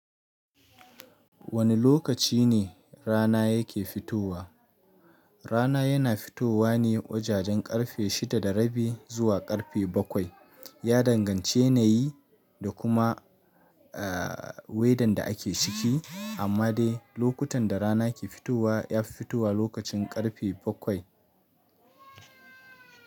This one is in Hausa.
Wane lokaci ne rana yake fitowa? Rana yana fitowa ne wajajen karfe shida da rabi zuwa karfe bakwai. Ya danganci yanayi da kuma, eh, wedan da ake ciki, amma dai lokutan da rana ke fitowa, ya fi fitowa lokacin karfe bakwai.